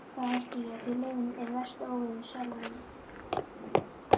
Þá hætti ég, því leiðinn er versti óvinur sálarinnar.